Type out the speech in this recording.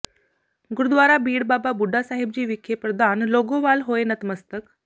ਗੁਰਦੁਆਰਾ ਬੀੜ ਬਾਬਾ ਬੁੱਢਾ ਸਾਹਿਬ ਜੀ ਵਿਖੇ ਪ੍ਰਧਾਨ ਲੌਾਗੋਵਾਲ ਹੋਏ ਨਤਮਸਤਕ